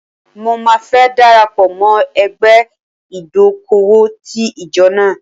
Mo máa fẹ́ dara pọ̀ mọ́ ẹgbẹ́ ìdókòwò ti ìjọ náà.